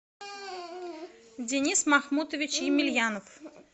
денис махмутович емельянов